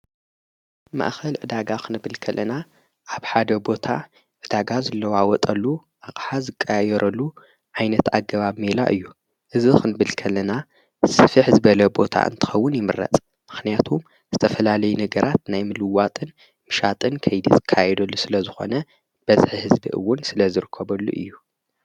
ማእኸል ዕዳጋ ኽ ንብልከልና ኣብ ሓደ ቦታ ብዳጋ ዝለዋወጠሉ ኣቕሓ ዝቃየረሉ ዓይነት ኣገባ ሜላ እዩ እዝኽ ንብልከልና ስፊ ሕዝበለ ቦታ እንትኸውን ይምረጽ ምኽንያቱ ዝተፈላለይ ነገራት ናይምልዋጥን ምሻጥን ከይድጽ ካይደሉ ስለ ዝኾነ በዝ ሕዝቢእውን ስለ ዝርከበሉ እዩ።